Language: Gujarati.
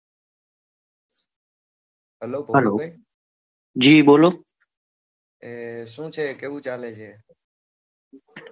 જી બોલો